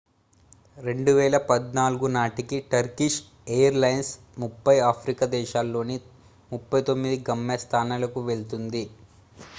2014 నాటికి Turkish airlines 30 Africa దేశాల్లోని 39 గమ్య స్థానాలకు వెళ్తుంది